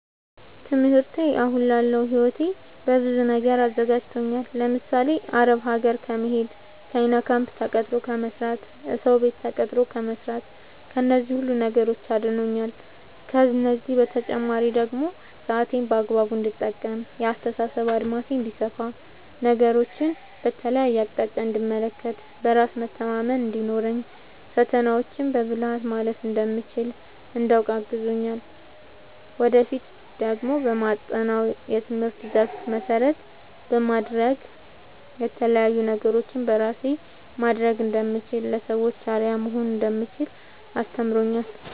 ትምህርቴ አሁን ላለው ህይወቴ በብዙ ነገር አዘጋጅቶኛል። ለምሳሌ፦ አረብ ሀገር ከመሄድ፣ ቻይና ካምፕ ተቀጥሮ ከመስራት፣ እሰው ቤት ተቀጥሮ ከመስራት ከነዚህ ሁሉ ነገሮች አድኖኛል። ከእነዚህ በተጨማሪ ደግሞ ሰአቴን በአግባቡ እንድጠቀም፣ የአስተሳሰብ አድማሴ እንዲሰፋ፣ ነገሮችን በተለያየ አቅጣጫ እንድመለከት፣ በራስ መተማመን እንዲኖረኝ፣ ፈተናዎችን በብልሀት ማለፍ እንደምችል እንዳውቅ አግዞኛል። ወደፊት ደግሞ በማጠናው የትምህርት ዘርፍ መሰረት በማድረግ የተለያዪ ነገሮችን በራሴ ማስተዳደር እንደምችል፣ ለሰዎች አርአያ መሆን እንደምችል አስተምሮኛል።